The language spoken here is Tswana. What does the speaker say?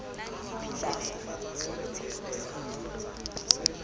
pula